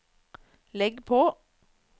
legg på